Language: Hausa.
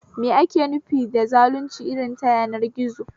Me ake nufi da zalunci irin ta yanar gizo?